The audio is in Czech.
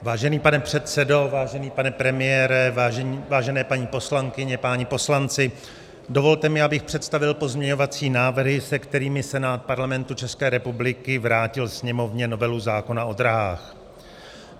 Vážený pane předsedo, vážený pane premiére, vážené paní poslankyně, páni poslanci, dovolte mi, abych představil pozměňovací návrhy, se kterými Senát Parlamentu České republiky vrátil Sněmovně novelu zákona o dráhách.